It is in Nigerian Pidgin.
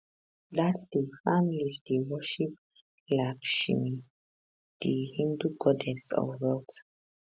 dat day families dey worship lakshmi di hindu goddess of wealth